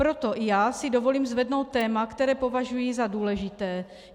Proto i já si dovolím zvednout téma, které považuji za důležité.